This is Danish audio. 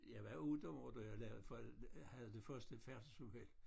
Jeg var 8 år da jeg lavede havde det første færdselsuheld